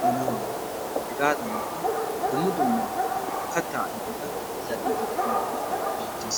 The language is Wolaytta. boyiya, hegaadankka dumma dumma kataa ayfeta zal'iidi diyoge beetees.